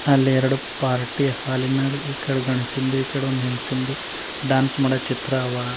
ಅಲ್ಲಿ ಎರಡು ಪಾರ್ಟಿ ಹಾಲಿನ ಈಕಡೆ ಗಂಡ್ಸದು ಈಕಡೆ ಒಂದು ಹೆಂಗಸಿಂದು ಡ್ಯಾನ್ಸ್ ಮಾಡೋ ಚಿತ್ರ ಅವ.